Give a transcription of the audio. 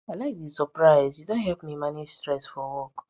i like the surprise e don help me manage stress for work